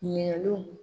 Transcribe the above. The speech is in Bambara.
Ɲinɛninw